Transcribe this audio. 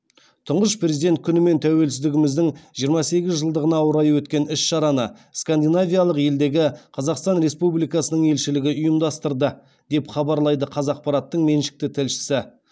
тұңғыш президент күні мен тәуелсіздігіміздің жиырма сегіз жылдығына орай өткен іс шараны скандинавиялық елдегі қазақстан республикасының елшілігі ұйымдастырды деп хабарлайды қазақпараттың меншікті тілшісі